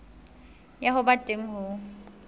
ya ho ba teng ho